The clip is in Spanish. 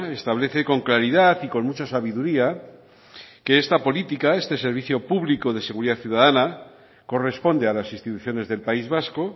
establece con claridad y con mucha sabiduría que esta política este servicio público de seguridad ciudadana corresponde a las instituciones del país vasco